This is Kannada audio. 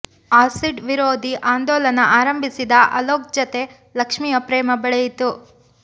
ಆಸಿಡ್ ವಿರೋಧಿ ಆಂದೋಲನ ಆರಂಭಿಸಿದ ಅಲೋಕ್ ಜತೆ ಲಕ್ಷ್ಮಿಯ ಪ್ರೇಮ ಬೆಳೆಯಿತು